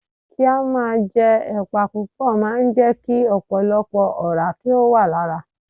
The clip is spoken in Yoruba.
Kí á máa jẹ ẹ̀pà púpò máa ń jẹ́ kí ọ̀pọ̀lọpọ̀ ọ̀rá kí ó wà lára.